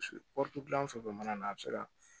dilan fɛn fɛn mana na a bɛ se ka